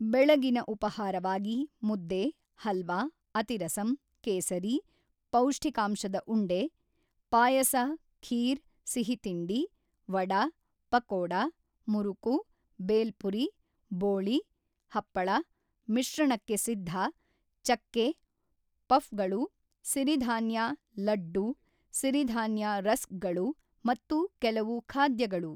ಬೆಳಗಿನ ಉಪಾಹಾರವಾಗಿ ಮುದ್ದೆ, ಹಲ್ವ, ಅತಿರಸಂ, ಕೇಸರಿ, ಪೌಷ್ಠಿಕಾಂಶದ ಉಂಡೆ, ಪಾಯಸ ಖೀರ್ ಸಿಹಿತಿಂಡಿ, ವಡ, ಪಕೋಡ, ಮುರುಕು, ಬೇಲ್ಪುರಿ, ಬೋಳಿ, ಹಪ್ಪಳ, ಮಿಶ್ರಣಕ್ಕೆ ಸಿದ್ಧ, ಚಕ್ಕೆ, ಪಫ್ಗಳು, ಸಿರಿಧಾನ್ಯ ಲಡ್ಡು, ಸಿರಿಧಾನ್ಯ ರಸ್ಕ್ಗಳು ಮತ್ತು ಕೆಲವು ಖಾದ್ಯಗಳು.